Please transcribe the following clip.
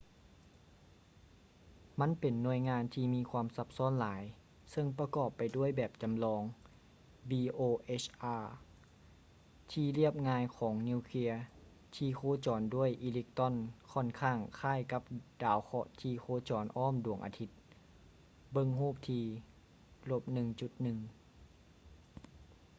ມັນເປັນໜ່ວຍງານທີ່ມີຄວາມຊັບຊ້ອນຫຼາຍເຊິ່ງປະກອບໄປດ້ວຍແບບຈໍາລອງ bohr ທີ່ລຽບງ່າຍຂອງນິວເຄຍທີ່ໂຄຈອນດ້ວຍອີເລັກຕຣອນຂ້ອນຂ້າງຄ້າຍກັບດາວເຄາະທີ່ໂຄຈອນອ້ອມດວງອາທິດ ເບິ່ງຮູບທີ່ - 1.1